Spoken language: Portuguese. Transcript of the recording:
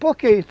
Por que isso?